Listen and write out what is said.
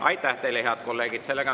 Aitäh teile, head kolleegid!